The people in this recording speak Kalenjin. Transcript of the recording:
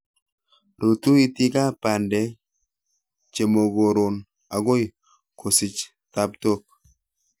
Rutu iitikab bandek chemokoron akoi kosich tabtook